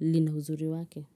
lina uzuri wake.